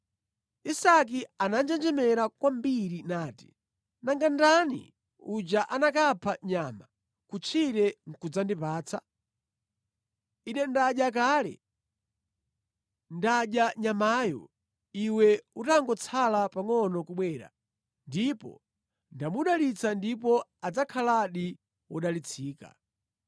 Isake ananjenjemera kwambiri nati, “Nanga ndani uja anakapha nyama kutchire nʼkudzandipatsa? Ine ndadya kale, ndadya nyamayo iwe utangotsala pangʼono kubwera ndipo ndamudalitsa ndipo adzakhaladi wodalitsika.”